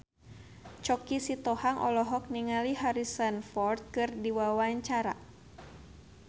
Choky Sitohang olohok ningali Harrison Ford keur diwawancara